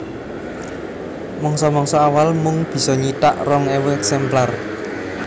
Mangsa mangsa awal mung bisa nyithak rong ewu èksemplar